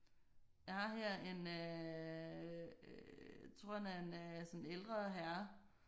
Jeg har her en øh tror han er en sådan ældre herre